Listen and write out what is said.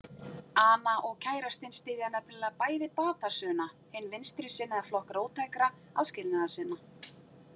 Ana og kærastinn styðja nefnilega bæði Batasuna, hinn vinstrisinnaða flokk róttækra aðskilnaðarsinna.